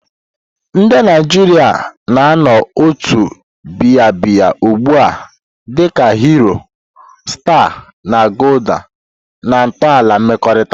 Ndị Naijiria na-anụ ụtọ biya biya ugbu a dị ka Hero, Star, na Gulder na ntọala mmekọrịta.